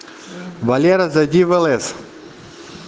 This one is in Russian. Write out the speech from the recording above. валера зайди в лс